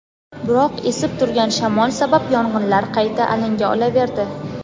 biroq esib turgan shamol sabab yong‘inlar qayta alanga olaverdi.